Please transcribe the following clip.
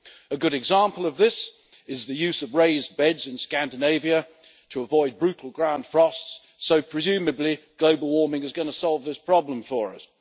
A good example of this is the use of raised beds in Scandinavia to avoid brutal ground frosts, so presumably global warming is going to solve this problem for us.